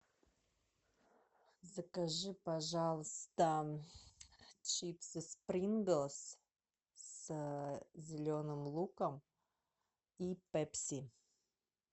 закажи пожалуйста чипсы принглс с зеленым луком и пепси